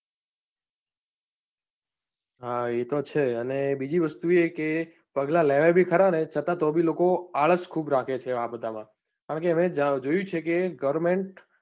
હા એતો છે જ, કે બીજું વસ્તુ એ કે પગલાં લેવાઈ બી ખરા ને છતાં તો બી લોકો આળસ ખુબ રાખે છે, આ બધા માં કેમ કે હવે જોયું છે કે goverment